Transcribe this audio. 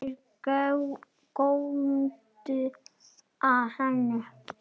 Þeir góndu á hann.